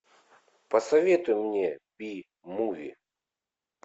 посоветуй мне би муви